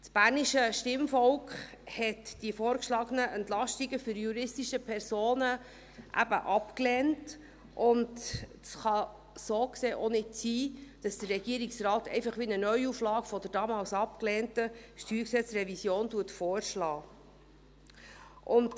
Das bernische Stimmvolk hat die vorgeschlagenen Entlastungen für die juristischen Personen eben abgelehnt, und es kann so gesehen auch nicht sein, dass der Regierungsrat einfach eine Art Neuauflage der damals abgelehnten StG-Revision vorschlägt.